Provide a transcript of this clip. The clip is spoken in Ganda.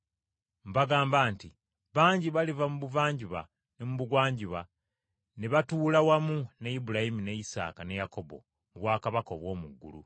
Mbagamba nti bangi baliva ebuvanjuba n’ebugwanjuba ne batuula wamu ne Ibulayimu ne Isaaka ne Yakobo mu bwakabaka obw’omu ggulu.